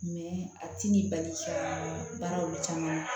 a t'i ni bali ka baara olu caman